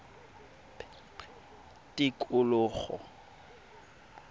tikologo